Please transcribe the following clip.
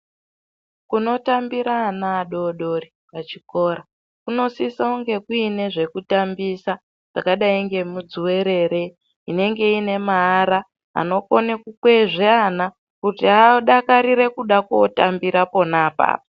Kunotambire ana adodori echikora kunosisa kunge kuine zvekutambisa zvakadai ngemudzuwerere inenge ine maara inokona kukwezva ana kuti adakarire kuda kootambira pona apapo.